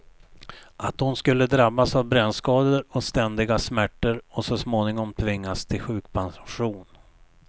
Att hon skulle drabbas av brännskador och ständiga smärtor och så småningom tvingas till sjukpension.